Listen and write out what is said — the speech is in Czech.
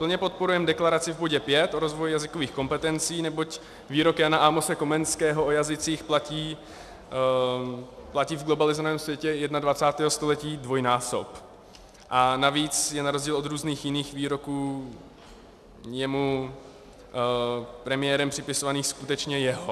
Plně podporujeme deklaraci v bodě 5 o rozvoji jazykových kompetencí, neboť výrok Jana Amose Komenského o jazycích platí v globalizovaném světě 21. století dvojnásob a navíc je na rozdíl od různých jiných výroků jemu premiérem připisovaných skutečně jeho.